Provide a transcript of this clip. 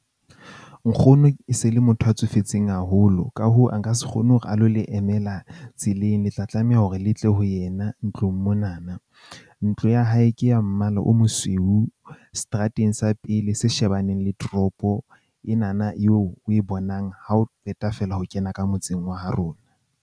Nkgono e se le motho a tsofetseng haholo, ka hoo, a nka se kgone hore a lo le emela tseleng. Le tla tlameha hore le tle ho yena ntlong mona na. Ntlo ya hae hae ke ya mmala o mosweu setrateng sa pele se shebaneng le toropo, ena na eo o e bonang ha o qeta feela ho kena ka motseng wa ha rona.